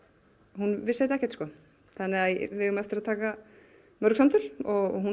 hún vissi þetta ekkert sko þannig að við eigum eftir að taka mörg samtöl og hún